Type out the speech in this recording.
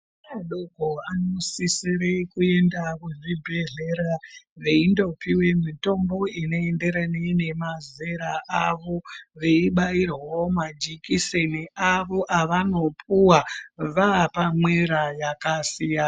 Ana adoko vanosisira kuenda kuzvibhedhlera veindopiwa mitombo unoenderana nemazera awo veibairwawo majekiseni awo avanopuwa vapamwera yakasiyana.